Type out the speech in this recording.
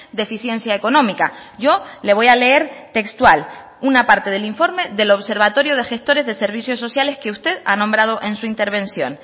deficiencia económica yo le voy a leer textual una parte del informe del observatorio de gestores de servicios sociales que usted ha nombrado en su intervención